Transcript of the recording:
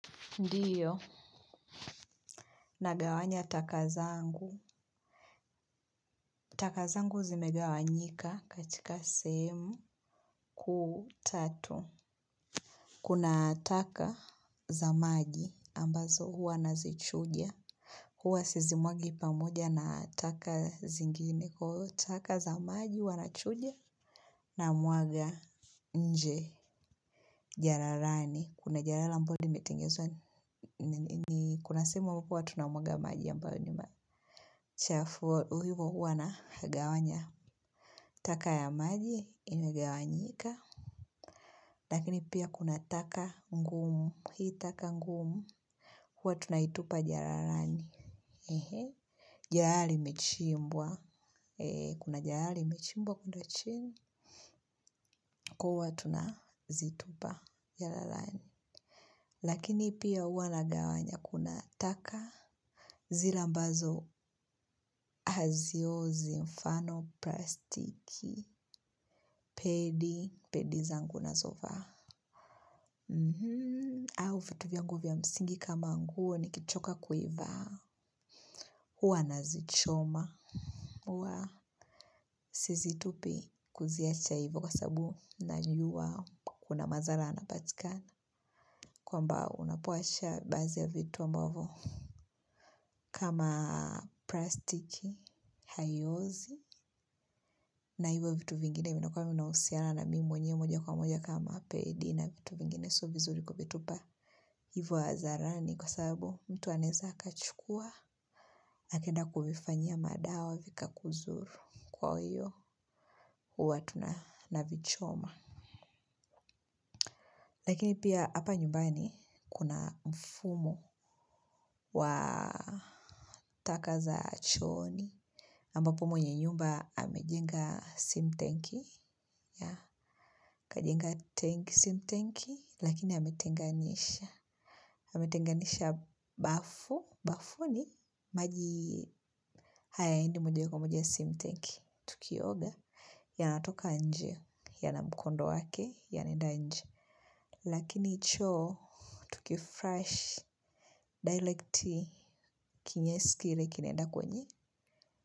Ndiyo, nagawanya taka zangu. Taka zangu zimegawanyika katika sehemu kuu tatu. Kuna taka za maji ambazo huwa nazichuja huwa sizimwagi pamoja na taka zingine. Taka za maji huwa nachuja namwaga nje jalalani kuna jalala ambalo limetengenezwa ni kuna sehemu huku huwa tunamwaga maji ambayo ni machafu. Huwa nagawanya taka ya maji inagawanyika lakini pia kuna taka ngumu. Hii taka ngumu huwa tunaitupa jalalani. Ehe! Jalala limechimbwa kuna jalala limechimbwa kule chini huwa tunazitupa jalalani. Lakini pia huwa nagawanya. Kuna taka zile ambazo haziozi, kwa mfano, plastiki, pedi, pedi zangu ninazovaa au vitu vyangu vya msingi kama nguo nikichoka kuivaa huwa nazichoma. Huwa sizitupi kuziacha hivo kwa sababu najua kuna madhara yanapatikana kwamba unapoacha baadhi ya vitu ambavyo kama plastiki, haiozi na hivyo vitu vingine vinakua vinahusiana na mimi mwenyewe moja kwa moja kama pedi na vitu vingine sio vizuri kuvitupa hivyo hadharani kwa sababu mtu anaeza aka chukua akaenda kuvifanyia madawa vika kudhuru kwa hiyo huwa tuna navichoma lakini pia hapa nyumbani kuna mfumo wa taka za chooni ambapo mwenye nyumba amejenga sintenki akajenga sintenki lakini ametenganisha bafuni hayo yaende moja kwa moja kwenye lakini choo, tuki flash, directly kinyesi kile kinaenda kwenye.